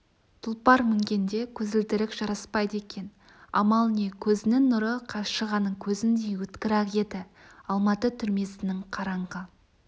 тұлпар мінгенде көзілдірік жараспайды екен амал не көзінің нұры қаршығаның көзіндей өткір-ақ еді алматы түрмесінің қараңғы